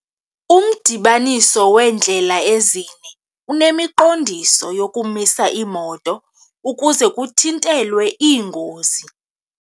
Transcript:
Umdibaniso weendlela ezine unemiqondiso yokumisa iimoto ukuze kuthintelwe iingozi.